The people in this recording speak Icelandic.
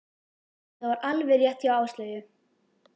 Og það var alveg rétt hjá Áslaugu.